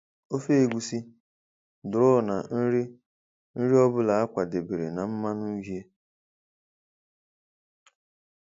ofe egusi, draw na nri nri ọ bụla a kwadebere na mmanụ uhie.